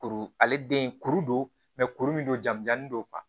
Kuru ale den kuru don kuru min don jamujanen don